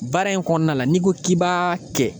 Baara in kɔɔna la n'i ko k'i b'a kɛ